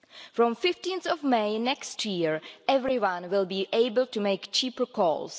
From 15 May next year, everyone will be able to make cheaper calls.